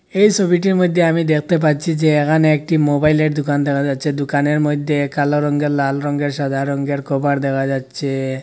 এই ছবিটির মইধ্যে আমি দেখতে পাচ্ছি যে এখানে একটি মোবাইলের দোকান দেখা যাচ্ছে দোকানের মধ্যে কালো রঙ্গের লাল রঙ্গের সাদা রঙ্গের কভার দেখা যাচ্ছে।